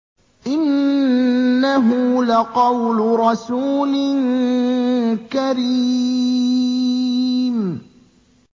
إِنَّهُ لَقَوْلُ رَسُولٍ كَرِيمٍ